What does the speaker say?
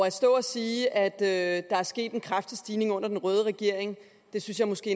at stå og sige at der er sket en kraftig stigning under den røde regering synes jeg måske